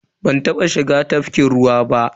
Ban taba shiga tafkin ruwa ba.